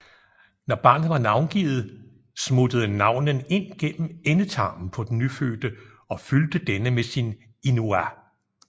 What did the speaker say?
Når barnet var navngivet smuttede navnen ind gennem endetarmen på den nyfødte og fyldte denne med sin Inua